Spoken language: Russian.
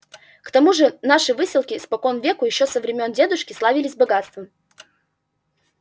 к тому же наши выселки спокон веку ещё со времён дедушки славились богатством